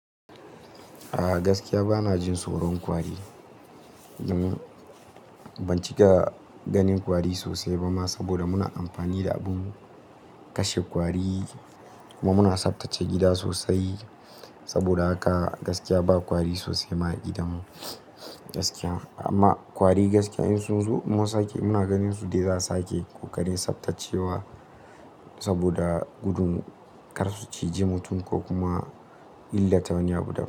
Ah gaskiya bana jin tsoron kwari. Ban cika ganin kwari sosai ba ma, saboda muna amfani da abin kashe kwari kuma muna tsaftace gida sosai. Saboda haka gaskiya ba kwari sosai ma a gidanmu, gaskiya. Amma kwari gaskiya in sun zo kuma su sake, muna ganin su dai za su sake ko kaɗai tsaftacewa saboda gudun kar su ciji mutum, ko kuma illata wani abu da.